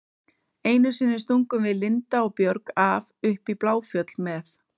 Einu sinni stungum við Linda og Björg af upp í Bláfjöll með